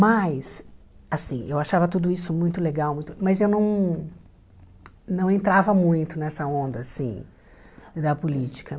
Mas, assim, eu achava tudo isso muito legal, muito mas eu não não entrava muito nessa onda assim da política.